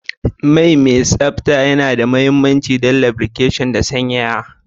Man mai tsabta yana da mahimmanci don lubrication da sanyaya.